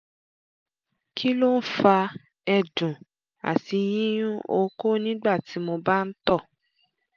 kí ló ń fa ẹ̀dùn àti yíyún okó nígbà tí mo bá ń tọ̀?